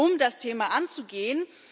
um das Thema anzugehen.